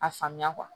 A faamuya